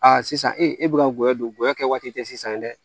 sisan e e bɛ ka n goya don goya kɛ waati tɛ sisan dɛ